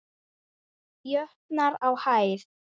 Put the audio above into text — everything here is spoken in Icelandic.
jötnar á hæð.